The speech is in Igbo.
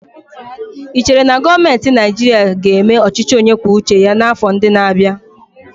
Ị chere na gọọmentị Naịjirịa ga-eme ọchịchị onye kwuo uche ya n'afọ ndị na-abịa?